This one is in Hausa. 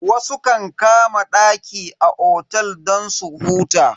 Wasu kan kama daki a otel don su huta.